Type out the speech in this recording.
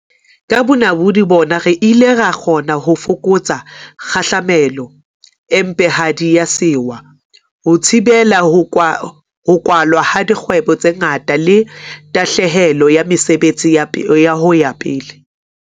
Ka bonamodi bona re ile ra kgona ho fokotsa kgahlamelo e mpehadi ya sewa, ho thibela ho kwalwa ha dkgwebo tse ngata le tahlehelo ya mesebetsi ho ya pele.